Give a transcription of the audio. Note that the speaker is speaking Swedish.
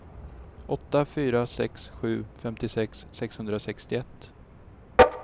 åtta fyra sex sju femtiosex sexhundrasextioett